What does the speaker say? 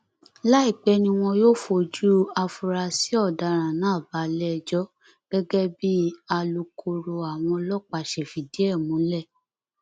láìpẹ ni wọn yóò fojú àfúráṣí ọdaràn náà balẹẹjọ gẹgẹ bí alukoro àwọn ọlọpàá ṣe fìdí ẹ múlẹ